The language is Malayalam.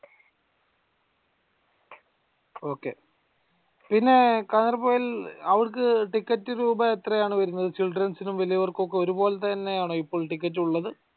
ok പിന്നെ കാഞ്ഞിരപ്പുഴയിൽ അവർക്ക് ticket രൂപ എത്രയാണ് വരുന്നത് children's ഇനും വലിയവർക്കൊക്കെ ഒരുപോലെത്തെതന്നെയാണോ ഇപ്പോൾ ടിക്കറ്റ് ഉള്ളത്